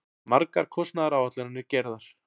Margar kostnaðaráætlanir gerðar.